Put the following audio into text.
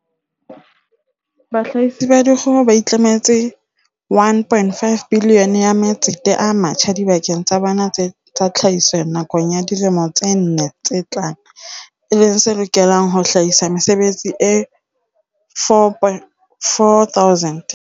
Bahlahisi ba dikgoho ba itlametse R1.5 bilione ya matsete a matjha dibakeng tsa bona tsa tlhahiso nakong ya dilemo tse nne tse tlang, e leng se lokelang ho hlahisa mesebetsi e 4 000.